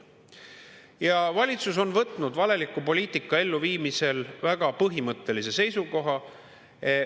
Ja valitsus on võtnud valeliku poliitika elluviimisel väga põhimõttelise seisukoha.